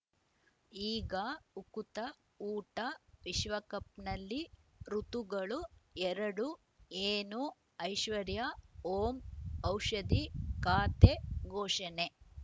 ಈಗ ಉಕುತ ಊಟ ವಿಶ್ವಕಪ್‌ನಲ್ಲಿ ಋತುಗಳು ಎರಡು ಏನು ಐಶ್ವರ್ಯಾ ಓಂ ಔಷಧಿ ಖಾತೆ ಘೋಷಣೆ